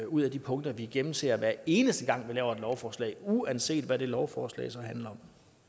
ud af de punkter vi gennemser hver eneste gang vi laver et lovforslag uanset hvad det lovforslag handler